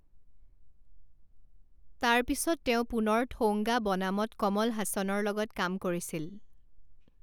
তাৰপিছত তেওঁ পুনৰ থৌংগা বনামত কমল হাসানৰ লগত কাম কৰিছিল।